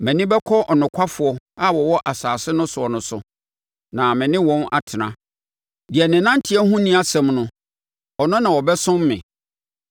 Mʼani bɛkɔ anokwafoɔ a wɔwɔ asase no soɔ no so na me ne wɔn atena; deɛ ne nanteɛ ho nni asɛm no, ɔno na ɔbɛsom me.